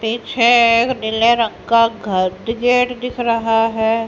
पीछे एक नीले रंग का घर गेट दिखाना है।